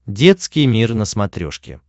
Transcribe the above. детский мир на смотрешке